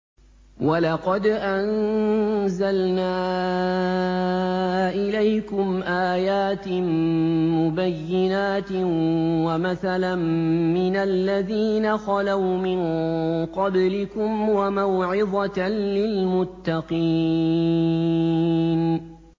وَلَقَدْ أَنزَلْنَا إِلَيْكُمْ آيَاتٍ مُّبَيِّنَاتٍ وَمَثَلًا مِّنَ الَّذِينَ خَلَوْا مِن قَبْلِكُمْ وَمَوْعِظَةً لِّلْمُتَّقِينَ